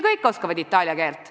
Kõik oskavad itaalia keelt.